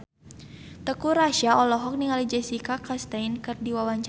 Teuku Rassya olohok ningali Jessica Chastain keur diwawancara